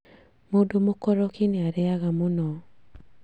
Mũndũ mũkoroki nĩ arĩaga mũno